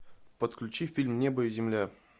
подключи фильм небо и земля